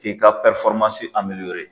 K'i ka